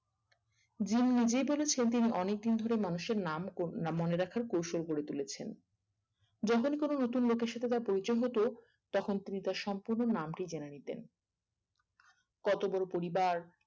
gym নিজেই বলেছেন তিনি অনেক দিন ধরে মানুষের নাম মনে রাখার কৌশল করে তুলেছেন যখনই কোনো নতুন লোকের সাথে তার পরিচয় হতো তখন তিনি তার সম্পূর্ণ নামটি জেনে নিতেন আহ কত বোরো পরিবার